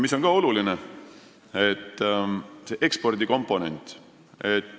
Mis on ka oluline, on ekspordikomponent.